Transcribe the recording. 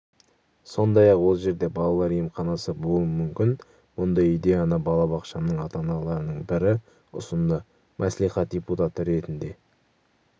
сондай-ақ ол жерде балалар емханасы болуы мүмкін мұндай идеяны балабақшамның ата-аналарының бірі ұсынды мәслихат депутаты ретінде